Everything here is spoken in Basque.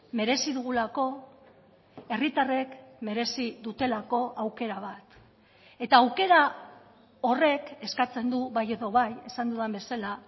merezi dugulako herritarrek merezi dutelako aukera bat eta aukera horrek eskatzen du bai edo bai esan dudan bezala